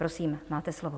Prosím, máte slovo.